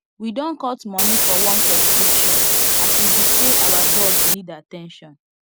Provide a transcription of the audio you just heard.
we don cut money for one subscription as e be say our dog need at ten tion